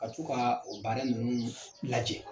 Ka to ka o baara ninnu lajɛ.